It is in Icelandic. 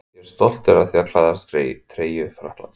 Ég er stoltur af því að klæðast treyju Frakklands.